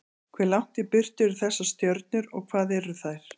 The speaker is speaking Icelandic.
Hve langt í burtu eru þessar stjörnur, og hvað eru þær?